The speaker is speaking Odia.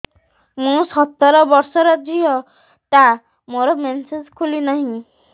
ମୁ ସତର ବର୍ଷର ଝିଅ ଟା ମୋର ମେନ୍ସେସ ଖୁଲି ନାହିଁ